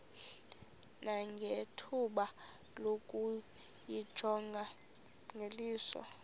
nangethuba lokuyijonga ngeliso